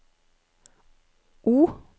O